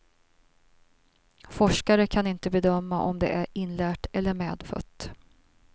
Forskare kan inte bedöma om det är inlärt eller medfött.